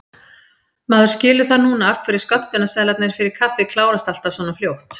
Maður skilur það núna af hverju skömmtunarseðlarnir fyrir kaffið klárast alltaf svona fljótt!